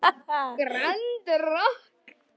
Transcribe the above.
Grand Rokk.